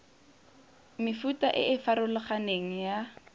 mefuta e e farologaneng ya